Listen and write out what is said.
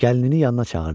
Gəlinini yanına çağırdı.